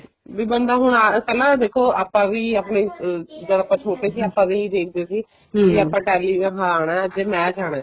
ਵੀ ਬੰਦਾ ਹੁਣ ਪਹਿਲਾਂ ਦੇਖੋ ਆਪਾਂ ਵੀ ਆਪਣੀ ਜਦ ਆਪਾਂ ਛੋਟੇ ਸੀ ਆਪਾਂ ਵੀ ਨੀ ਦੇਖਦੇ ਸੀ ਕਰਨ ਆਉਣਾ ਅੱਜ match ਆਉਣਾ